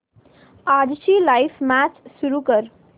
आजची live match सुरू कर